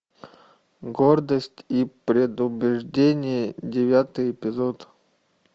гордость и предубеждение девятый эпизод